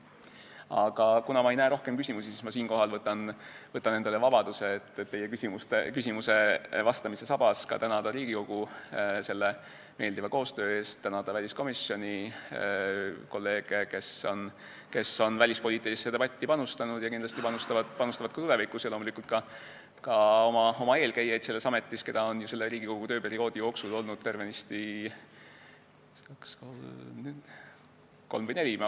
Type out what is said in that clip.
Aga kuna ma ei näe rohkem küsimusi, siis ma võtan endale vabaduse, et teie küsimustele vastamise lõpuks tänada Riigikogu meeldiva koostöö eest, tänada väliskomisjoni, kolleege, kes on välispoliitilisse debatti panustanud ja kindlasti panustavad ka tulevikus, ja loomulikult oma eelkäijaid selles ametis, keda on ju selle Riigikogu tööperioodi jooksul olnud tervenisti kolm või neli.